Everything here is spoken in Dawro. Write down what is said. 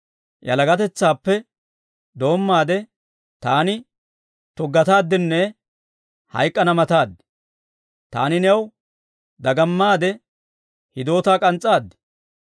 Yalagatetsaappe doommaade, taani tuggataaddinne hayk'k'ana mataad. Taani new dagamaade hiidootaa k'ans's'aad.